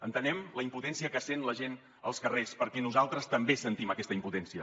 entenem la impotència que sent la gent als carrers perquè nosaltres també sentim aquesta impotència